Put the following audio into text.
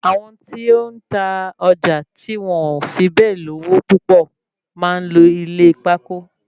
Àwọn tí ó ń ta ọjà tí wọn ò fi bẹ́ẹ̀ lówó púpọ máa ń lo ilé pákó